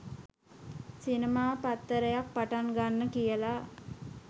සිනමා පත්තරයක් පටන් ගන්න කියලා